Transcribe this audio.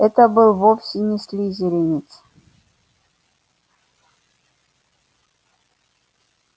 это был вовсе не слизеринец